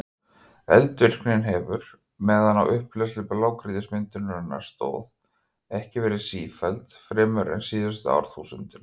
Eldvirknin hefur, meðan á upphleðslu blágrýtismyndunarinnar stóð, ekki verið sífelld fremur en síðustu árþúsundin.